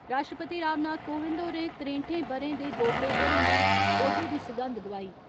राश्ट्रपति रामनाथ कोविंद होरें त्रें'ठें ब'रें दे बोबड़े होरें गी औह्दे दी सगंध दोआई।